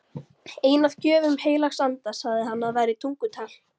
Ein af gjöfum heilags anda sagði hann að væri tungutal.